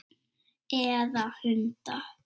Eða hunda?